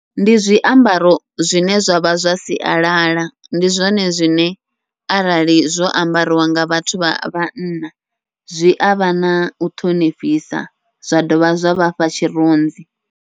Ndi zwiambaro zwine zwavha zwa sialala, ndi zwone zwine arali zwo ambariwa nga vhathu vha vhanna zwi avha nau ṱhonifhisa zwa dovha zwa vhafha tshirunzi.